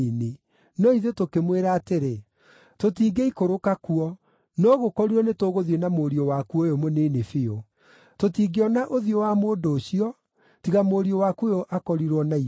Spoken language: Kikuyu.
No ithuĩ tũkĩmwĩra atĩrĩ, ‘Tũtingĩikũrũka kuo. No gũkorirwo nĩtũgũthiĩ na mũriũ waku ũyũ mũnini biũ. Tũtingĩona ũthiũ wa mũndũ ũcio tiga mũriũ waku ũyũ akorirwo na ithuĩ.’